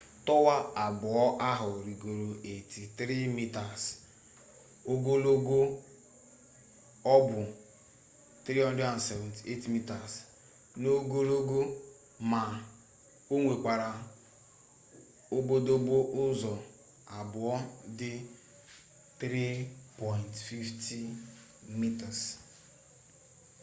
towa abuo ahu rigoro 83 meters ogologo o bu 378 meters n'ogologo ma o nwekwara obodobo uzo abuo di 3.50m